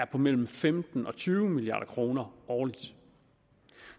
på mellem femten milliard og tyve milliard kroner årligt